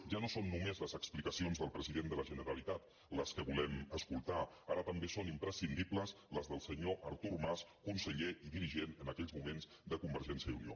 ja no són només les explicacions del president de la generalitat les que volem escoltar ara també són imprescindibles les del senyor artur mas conseller i dirigent en aquells moments de conver·gència i unió